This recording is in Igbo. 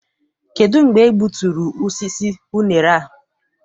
Kedụ mgbe e gbuturu osisi unere a?